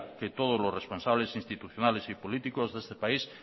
que todos los responsables institucionales y políticos de este país